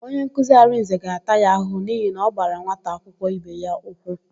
Onyenkuzi Arịnze ga-ata ya ahụhụ n'ihi na ọ gbara nwata akwụkwọ ibe ya ụkwụ.